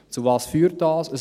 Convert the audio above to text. Wozu führt dies?